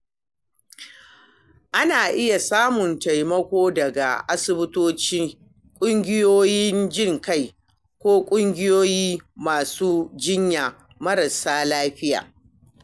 Ana iya samun taimako daga asibitoci, kungiyoyin jin ƙai, ko ƙungiyoyin masu jinyar marasa lafiya.